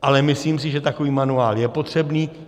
Ale myslím si, že takový manuál je potřebný.